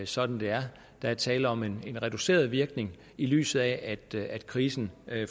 sådan det er der er tale om en reduceret virkning i lyset af at krisen